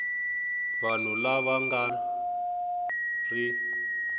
vanhu lava va nga ri